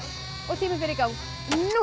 tíminn fer í gang núna